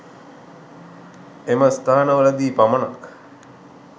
එම ස්ථාන වලදී පමණක්